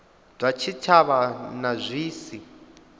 zwa tshitshavha na zwi si